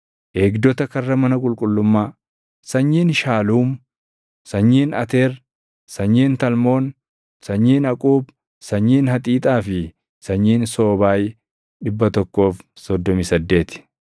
Eegdota karra mana qulqullummaa: Sanyiin Shaluum, sanyiin Ateer, sanyiin Talmoon, sanyiin Aquub, sanyiin Haxiixaa fi sanyiin Soobaay 138.